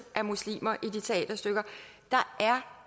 af muslimer i de teaterstykker der er